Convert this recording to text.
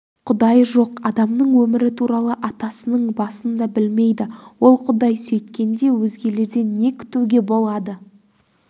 құдай жоқ адамның өмірі туралы атасының басын да білмейді ол құдай сөйткенде өзгелерден не күтуге болады